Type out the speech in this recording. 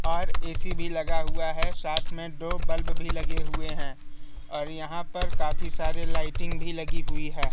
और ए_सी भी लगा हुआ है साथ में दो बल्ब भी लगे हुए हैं और यहाँ पर काफी सारे लाइटिंग भी लगी हुई है।